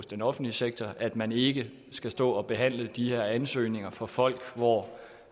den offentlige sektor at man ikke skal stå og behandle de her ansøgninger fra folk for